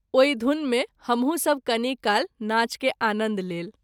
ओहि धुन मे हमहूँ सभ कनि काल नाच कय आनन्द लेल।